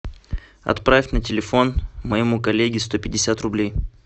отправь на телефон моему коллеге сто пятьдесят рублей